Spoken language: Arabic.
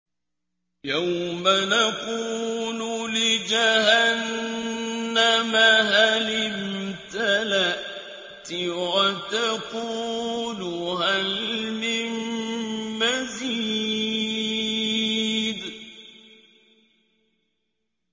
يَوْمَ نَقُولُ لِجَهَنَّمَ هَلِ امْتَلَأْتِ وَتَقُولُ هَلْ مِن مَّزِيدٍ